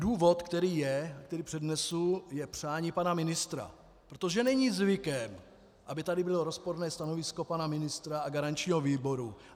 Důvod, který je, který přednesu, je přání pana ministra, protože není zvykem, aby tady bylo rozporné stanovisko pana ministra a garančního výboru.